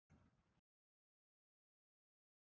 Sighvatur Jónsson: Og hversu margir fá vinnu?